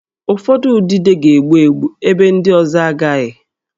Ụfọdụ udide ga-egbu egbu, ebe ndị ọzọ agaghị